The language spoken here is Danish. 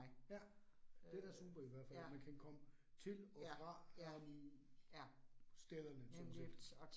Ja, det da super i hvert fald. Man kan komme til og fra øh stederne sådan set